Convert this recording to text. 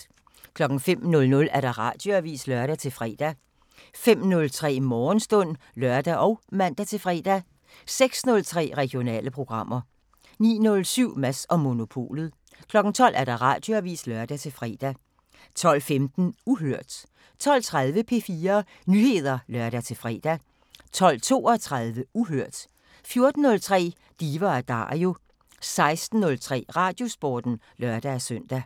05:00: Radioavisen (lør-fre) 05:03: Morgenstund (lør og man-fre) 06:03: Regionale programmer 09:07: Mads & Monopolet 12:00: Radioavisen (lør-fre) 12:15: Uhørt 12:30: P4 Nyheder (lør-fre) 12:32: Uhørt 14:03: Diva & Dario 16:03: Radiosporten (lør-søn)